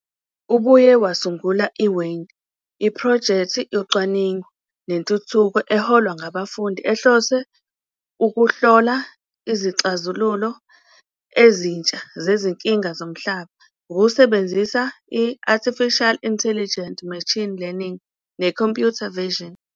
Ubuye wasungula iWaind, iphrojekthi yocwaningo nentuthuko eholwa ngabafundi ehlose ukuhlola izixazululo ezintsha zezinkinga zomhlaba ngokusebenzisa i-Artificial Intelligence, Machine Learning, ne- Computer Vision.